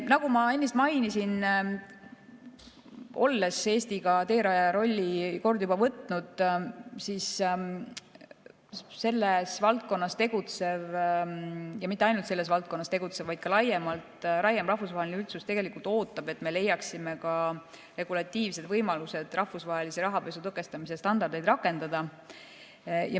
Nagu ma ennist mainisin, kui Eesti on teerajaja rolli kord juba võtnud, siis selles valdkonnas tegutsev – ja mitte ainult selles valdkonnas tegutsev, vaid ka laiem – rahvusvaheline üldsus ootab, et me leiaksime ka regulatiivsed võimalused rahvusvahelise rahapesu tõkestamise standardeid rakendada.